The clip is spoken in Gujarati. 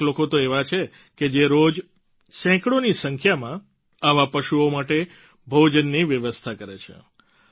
કેટલાક લોકો તો એવા છે કે જે રોજ સેંકડોની સંખ્યામાં આવા પશુઓ માટે ભોજનની વ્યવસ્થા કરે છે